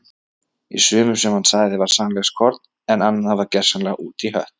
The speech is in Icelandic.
Í sumu sem hann sagði var sannleikskorn en annað var gersamlega út í hött.